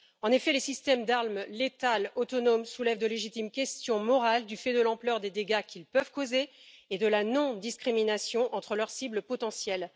En effet, les systèmes d'armes létales autonomes soulèvent de légitimes questions morales, du fait de l'ampleur des dégâts qu'ils peuvent causer et de la non discrimination entre leurs cibles potentielles.